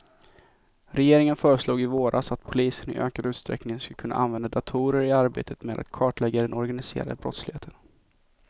Regeringen föreslog i våras att polisen i ökad utsträckning ska kunna använda datorer i arbetet med att kartlägga den organiserade brottsligheten.